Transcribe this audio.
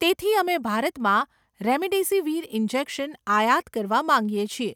તેથી, અમે ભારતમાં રેમડેસિવીર ઇન્જેક્શન આયાત કરવા માંગીએ છીએ.